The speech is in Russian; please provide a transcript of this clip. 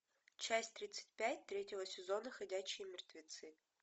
часть тридцать пять третьего сезона ходячие мертвецы